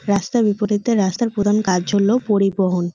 রাস্তার বিপরীতে রাস্তার প্রধান কাজ হল পরিবহন।